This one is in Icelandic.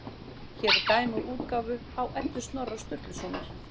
Hér er dæmi úr útgáfu á Eddu Snorra Sturlusonar.